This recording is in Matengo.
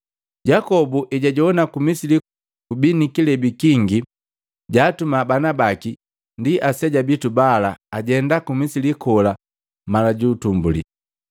Yakobo hejajowana ku Misili kubii nikilebi kingi jaatuma banabaki ndi aseja bitu bala ajenda ku Misili kola mala ja kwanza.